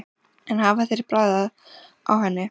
En hafa þeir bragðað á henni?